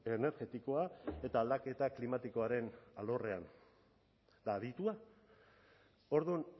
energetikoa eta aldaketa klimatikoaren alorrean eta aditua orduan